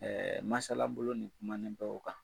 masalabolo nin kumanen bɛ o kan.